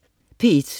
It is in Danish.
P1: